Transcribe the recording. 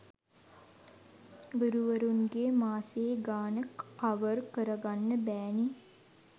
ගුරුවරුන්ගේ මාසේ ගාන කවර් කරගන්න බෑ නේ.